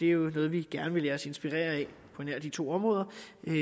jo noget vi gerne vil lade os inspirere af på nær de to områder